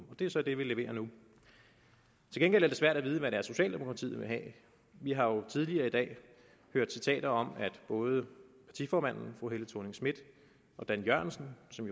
det er så det vi leverer nu til gengæld er det svært at vide hvad det er socialdemokratiet vil have vi har jo tidligere i dag hørt citater om at både partiformanden fru helle thorning schmidt og dan jørgensen som